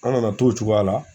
An nana to o cogoya la